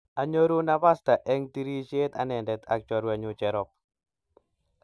Anyoru napasta eng tirishet anendet ak chorwenyu Jerop